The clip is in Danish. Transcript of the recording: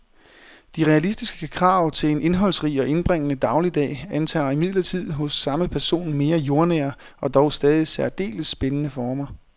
De realistiske krav til en indholdsrig og indbringende dagligdag antager imidlertid hos samme person mere jordnære og dog stadig særdeles spændende former.